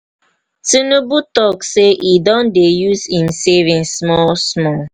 tinubu talk say he don dey use im savings small small.